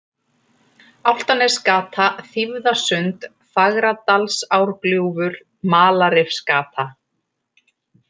Álftanesgata, Þýfðasund, Fagradalsárgljúfur, Malarrifsgata